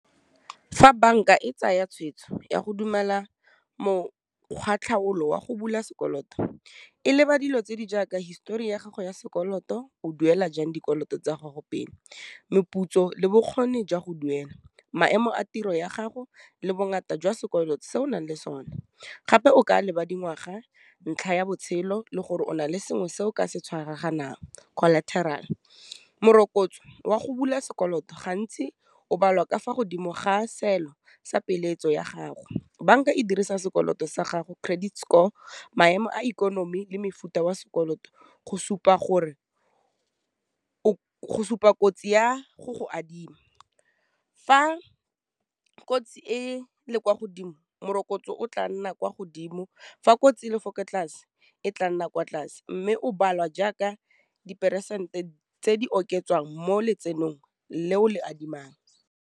Fa bank-a e tsaya tshweetso ya go dumela mokgwa-tlhaolo wa go bula sekoloto, e leba dilo tse di jaaka histori ya gago ya sekoloto, o duela jang dikoloto tsa gago pele, meputso le bokgoni jwa go duela, maemo a tiro ya gago le bongata jwa sekoloto se o nang le sone, gape o ka leba dingwaga, ntlha ya botshelo, le gore o na le sengwe se o ka se tshwaraganelang collateral. Morokotso wa go bula sekoloto, gantsi o balwa ka fa godimo ga seelo sa peeletso ya gago, bank-a e dirisa sekoloto sa gago credit score, maemo a ikonomi le mefuta wa sekoloto go supa kotsi ya go go adima, fa kotsi e le kwa godimo, morokotso o tla nna kwa godimo, fa kotsi le ko tlase, e tla nna kwa tlase, mme o balwa jaaka diperesente tse di oketswang mo letsenong le o le adimang.